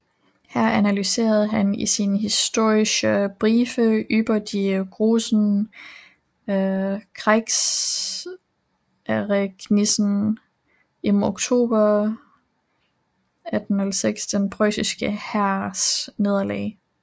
Her analyserede han i sine Historische Briefe über die großen Kriegsereignisse im October 1806 den preussiske hærs nederlag